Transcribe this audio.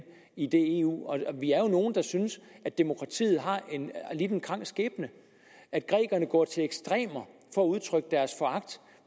i eu vi er nogle der synes at demokratiet har lidt en krank skæbne at grækerne går til ekstremer for at udtrykke deres foragt